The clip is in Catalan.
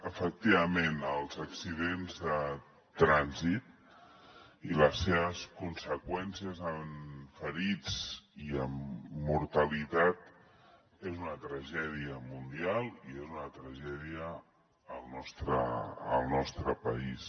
efectivament els accidents de trànsit i les seves conseqüències en ferits i en mortalitat és una tragèdia mundial i és una tragèdia al nostre país